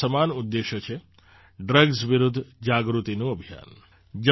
અને આ સમાન ઉદ્દેશ છે ડ્રગ્સ વિરુદ્ધ જાગૃતિનું અભિયાન